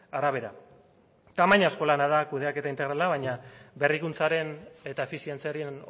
arabera tamainazko lana da kudeaketa integrala baina berrikuntzaren eta efizientziaren